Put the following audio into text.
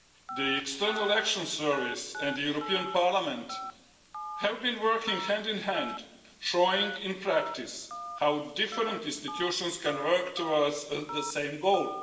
The European External Action Service and the European Parliament have been working hand in hand, showing in practice, how different institutions can work towards the same goal.